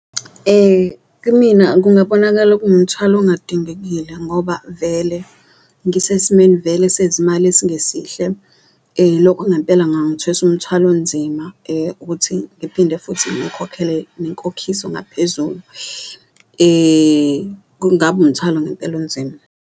Kimina kungabonakala kuwumthwalo ongadingekile ngoba vele ngisesimeni vele sezimali esingesihle, lokhu ngempela ngangithwesa umthwalo onzima ukuthi ngiphinde futhi ngikhokhele nenkokhiso ngaphezulu, kungaba umthwalo ngempela onzima.